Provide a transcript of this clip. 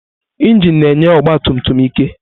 Injin na-enye ọgba tum tum ike.